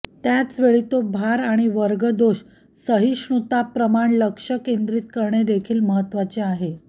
त्याच वेळी तो भार आणि वर्ग दोष सहिष्णुता प्रमाण लक्ष केंद्रित करणे देखील महत्त्वाचे आहे